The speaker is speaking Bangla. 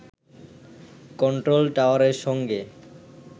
কন্ট্রোল টাওয়ারের সঙ্গে